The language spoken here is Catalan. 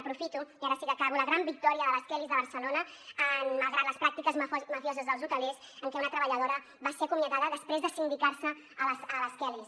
aprofito i ara sí que acabo la gran victòria de les kellys de barcelona malgrat les pràctiques mafioses dels hotelers en què una treballadora va ser acomiadada després de sindicarse a las kellys